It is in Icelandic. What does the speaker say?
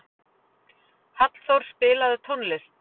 Hallþór, spilaðu tónlist.